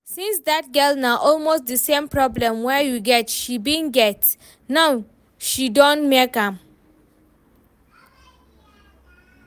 See dat girl, na almost the same problem wey you get she bin get, but now she don make am